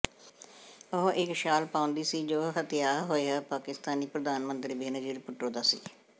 ਉਹ ਇਕ ਸ਼ਾਲ ਪਾਉਂਦੀ ਸੀ ਜੋ ਹੱਤਿਆ ਹੋਇਆ ਪਾਕਿਸਤਾਨੀ ਪ੍ਰਧਾਨ ਮੰਤਰੀ ਬੇਨਜ਼ੀਰ ਭੁੱਟੋ ਦਾ ਸੀ